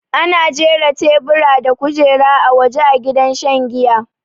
Ana jira taiburi da kujera a waja a gidan shan jiya